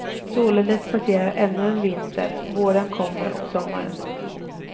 Således passerar ännu en vinter, våren kommer och sommaren.